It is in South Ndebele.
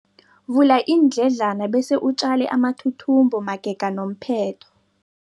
Vula iindledlana bese utjale amathuthumbo magega nomphetho.